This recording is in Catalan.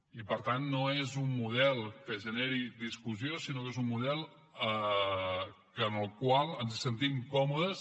i per tant no és un model que generi discussió sinó que és un model en el qual ens sentim còmodes